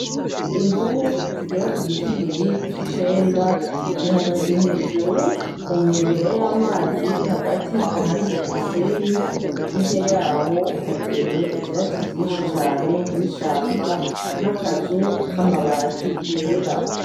Imvubu zigera kugitigiri c'icenda ,zihagaze hejuru kunkengera y'amazi hagati ahari umusenyi, hirya yaho hateye ivyatsi vyinshi cane n'ishamba, n'akazu k'amabati yera.